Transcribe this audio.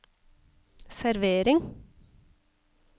servering